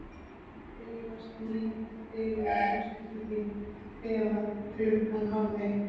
Ég blygðast mín fyrir að hugsa til þín kvefað klukkan hálfeitt.